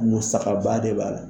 Musakaba de b'a la.